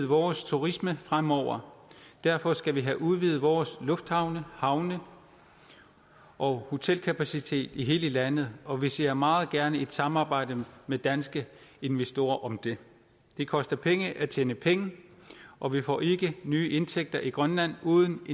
vores turisme fremover derfor skal vi have udvidet vores lufthavne havne og hotelkapacitet i hele landet og vi ser meget gerne et samarbejde med danske investorer om det det koster penge at tjene penge og vi får ikke nye indtægter i grønland uden at